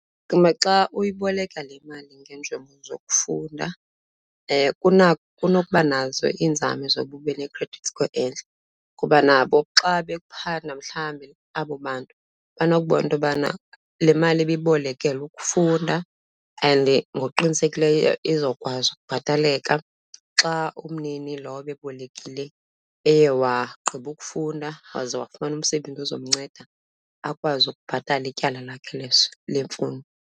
Xa uyiboleka le mali ngeenjongo zokufunda kunokuba nazo iinzame zoba ube ne-credit score entle. Kuba nabo xa bephanda mhlambe abo bantu banokubona into yobana le mali ibibolekelwe ukufunda and ngokuqinisekileyo izokwazi ukubhataleka xa umnini lo ebebolekile eye wagqiba ukufunda waze wafumana umsebenzi ozomnceda akwazi ukubhatala ityala lakhe lemfundo.